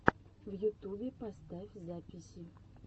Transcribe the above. в ютубе поставь записи